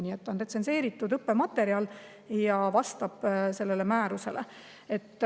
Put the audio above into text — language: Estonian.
Nii et see on retsenseeritud õppematerjal ja vastab sellele määrusele.